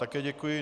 Také děkuji.